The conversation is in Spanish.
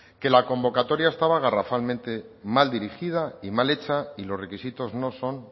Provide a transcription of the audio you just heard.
que la convocatoria estaba garrafalmente mal dirigida y mal hecha y los requisitos no son